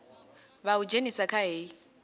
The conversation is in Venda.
vha u dzhenise kha hei